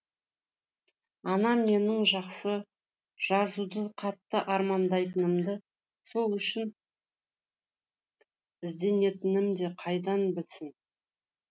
анам менің жақсы жазуды қатты армандайтынымды сол үшін ізденетінімді қайдан білсін